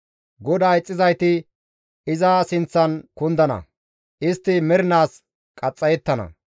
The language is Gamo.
GODAA ixxizayti iza sinththan kundana; istti mernaas qaxxayettana.